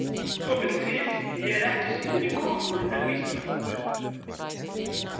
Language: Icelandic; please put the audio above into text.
Svo vill til að ég er ekki síðri kokkur en vísindamaður.